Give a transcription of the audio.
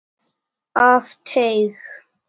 Af teig